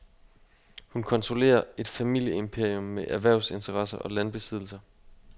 Hun kontrollerer et familieimperium med erhvervsinteresser og landbesiddelser.